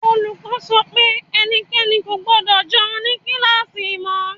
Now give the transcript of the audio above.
Olùkọ́ sọ pé ẹnikẹ́ni kò gbọdọ̀ jẹun ní kíláàsì mọ́.